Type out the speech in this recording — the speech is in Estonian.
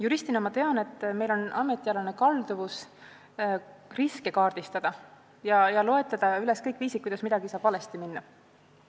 Juristina ma tean, et meil on ametialane kalduvus riske kaardistada ja loetleda üles kõik viisid, kuidas midagi saab valesti minna.